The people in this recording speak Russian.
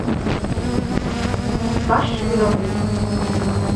баширову